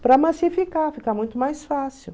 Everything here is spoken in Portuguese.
Para massificar, ficar muito mais fácil.